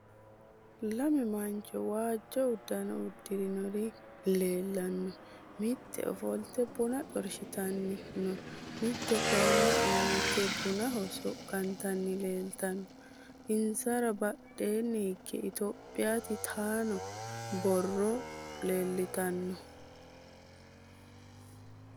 Lame mancho waajjo uduunne uddirinori leellanno. Mitte ofolte buna xorshitanni no. Mitte kayinni uirrite bunaho soqqantanni leeltanno. Insara badheenni hige Ethiopia titanno borro leeltanno.